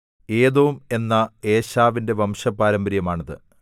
ഏദോം എന്ന ഏശാവിന്റെ വംശപാരമ്പര്യമാണിത്